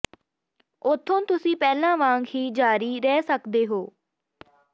ਉੱਥੋਂ ਤੁਸੀਂ ਪਹਿਲਾਂ ਵਾਂਗ ਹੀ ਜਾਰੀ ਰਹਿ ਸਕਦੇ ਹੋ